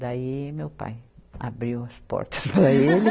Daí meu pai abriu as portas para ele.